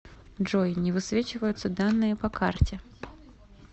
джой не высвечиваются данные по карте